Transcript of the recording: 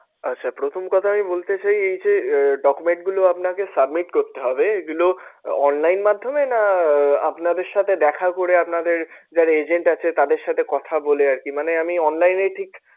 আচ্ছা প্রথম কথা আমি বলতে চাই এই যে document গুলো আপনাকে submit করতে হবে এগুলো online মাধ্যমে না আহ আপনাদের সাথে দেখা করে আপনাদের যারা agent আছে তাদের সাথে কথা বলে আরকি মানে আমি online এ ঠিক